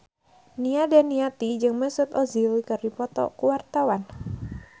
Nia Daniati jeung Mesut Ozil keur dipoto ku wartawan